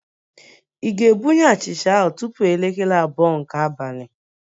Ị ga-ebunye achịcha ahụ tupu elekere abụọ nke abalị?